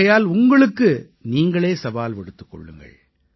ஆகையால் உங்களுக்கு நீங்களே சவால் விடுத்துக் கொள்ளுங்கள்